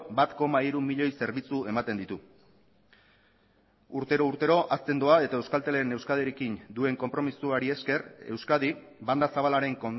bat koma hiru milioi zerbitzu ematen ditu urtero urtero hazten doa eta euskaltelen euskadirekin duen konpromisoari esker euskadi banda zabalaren